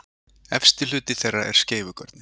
Efsti hluti þeirra er skeifugörnin.